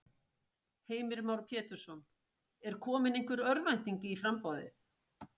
Heimir Már Pétursson: Er komin einhver örvænting í í framboðið?